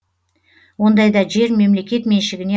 ондайда жер мемлекет меншігіне